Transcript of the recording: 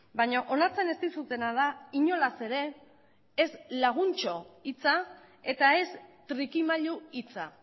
baina onartzen ez dizutena da inolaz ere ez laguntxo hitza eta ez trikimailu hitza